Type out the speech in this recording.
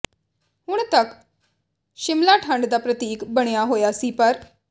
ਹੁਣ ਤੱਕ ਸ਼ਿਮਲਾ ਠੰਢ ਦਾ ਪ੍ਰਤੀਕ ਬਣਿਆ ਹੋਇਆ ਸੀ ਪਰ